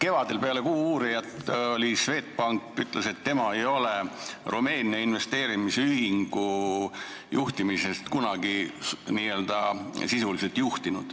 Kevadel peale "Kuuuurijat" ütles Swedbank, et tema ei ole Rumeenia investeerimisühingut kunagi n-ö sisuliselt juhtinud.